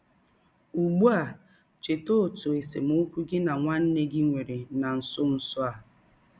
Ụgbụ a, cheta ọtụ esemọkwụ gị na nwanne gị nwere na nsọ nsọ a.